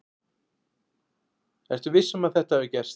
Ertu viss um að þetta hafi gerst?